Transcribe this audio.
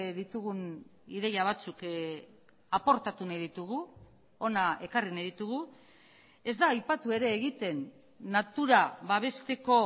ditugun ideia batzuk aportatu nahi ditugu hona ekarri nahi ditugu ez da aipatu ere egiten natura babesteko